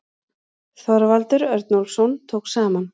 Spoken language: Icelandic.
Þorvaldur Örnólfsson tók saman.